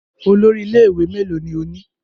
Olórí ilé-ìwé mélòó ni ó ní?